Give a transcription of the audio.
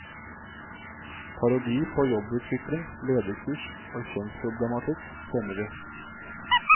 Parodi på jobbutvikling, lederkurs og kjønnsproblematikk kjenner vi.